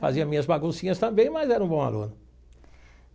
Fazia minhas baguncinhas também, mas era um bom aluno.